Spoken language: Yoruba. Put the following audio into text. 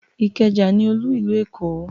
Ìkẹjà ní olú ìlú Èkó